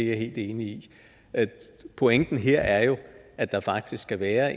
jeg helt enig i pointen her er jo at der faktisk skal være